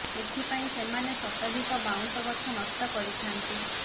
ଏଥି ପାଇଁ ସେମାନେ ଶତାଧିକ ବାଉଁଶ ଗଛ ନଷ୍ଟ କରିଥାନ୍ତି